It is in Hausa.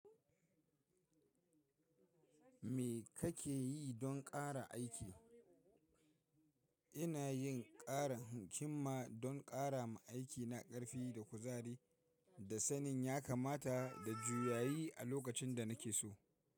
Me kake yi don ƙara aiki? Ina yin ƙarin himma don ƙara ma aikina ƙarfi da kuzari, da sanin ya kamata da juyayi a lokacin da na ke so.